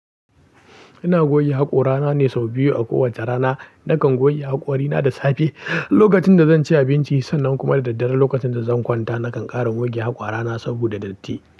Ina goge haƙora na ne sau biyu a kowace rana. Nakan goge haƙori na da safe, lokacin da zan ci abinci, sannan kuma da daddare lokacin da zan kwanta. Nakan ƙara goge haƙora na saboda datti.